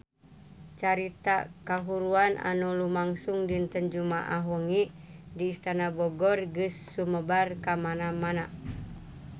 Carita kahuruan anu lumangsung dinten Jumaah wengi di Istana Bogor geus sumebar kamana-mana